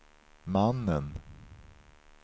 mannen